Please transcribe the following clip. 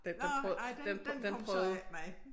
Nåh nej den den kom så ikke med